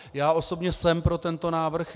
Já osobně jsem pro tento návrh.